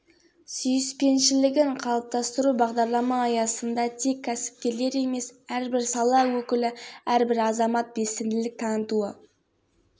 ербол нұрғалиев ақтөбе облысы әкімінің орынбасары шынар шарапиева асубұлақ орта мектебінің директоры евгений цой кәсіпкер бүркіт